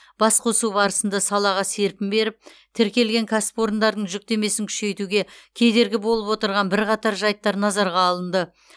басқосу барысында салаға серпін беріп тіркелген кәсіпорындардың жүктемесін күшейтуге кедергі болып отырған бірқатар жайттар назарға алынды